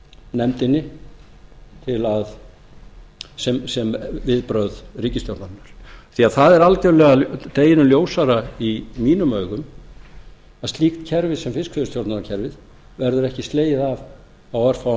nefndinni sem viðbrögð ríkisstjórnarinnar því það er algjörlega deginum ljósara í mínum augum að slíkt kerfi sem fiskveiðistjórnarkerfið verður ekki slegið af á örfáum